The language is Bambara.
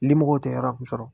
Limɔgɔw tɛ yɔrɔ min sɔrɔ